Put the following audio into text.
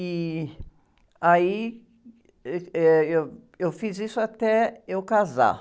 E aí, ãh, eh, eu, eu fiz isso até eu casar.